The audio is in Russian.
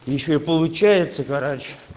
ещё получается гараж